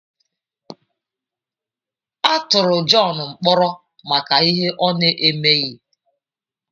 A tụrụ John mkpọrọ maka ihe ọ na-emeghi.